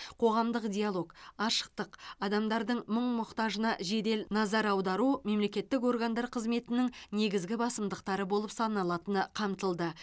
қоғамдық диалог ашықтық адамдардың мұң мұқтажына жедел назар аудару мемлекеттік органдар қызметінің негізгі басымдықтары болып саналатыны қамтылды